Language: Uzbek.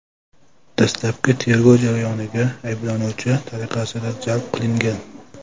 dastlabki tergov jarayoniga ayblanuvchi tariqasida jalb qilingan.